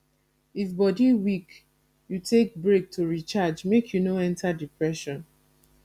if body weak you take brake to recharge make you no enter depression